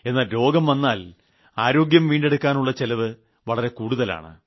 എന്നാൽ രോഗം വന്നാൽ ആരോഗ്യം വീണ്ടെടുക്കാനുളള ചിലവ് വളരെ കൂടുതലാണ്